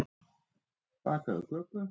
Bakaðu köku.